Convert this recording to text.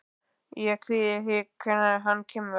Ég kvíði því hvernig hann kemur.